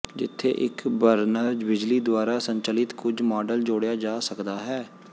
ਜਿੱਥੇ ਇੱਕ ਬਰਨਰ ਬਿਜਲੀ ਦੁਆਰਾ ਸੰਚਾਲਿਤ ਕੁਝ ਮਾਡਲ ਜੋੜਿਆ ਜਾ ਸਕਦਾ ਹੈ